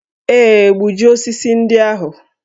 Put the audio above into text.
Ee, gbujie osisi ndị ahụ